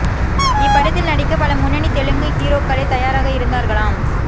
இப்படத்தில் நடிக்க பல முன்னணி தெலுங்கு ஹீரோக்களே தயாராக இருந்தார்களாம்